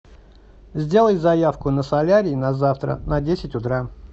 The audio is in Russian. сделай заявку на солярий на завтра на десять утра